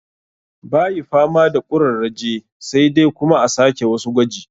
Bayi fama da ƙurarraje sai dai kuma a sake wasu gwaji